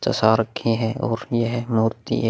चसा रखे हैं और यह मूर्ति एक --